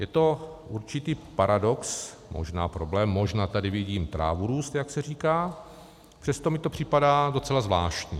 Je to určitý paradox, možná problém, možná tady vidím trávu růst, jak se říká, přesto mi to připadá docela zvláštní.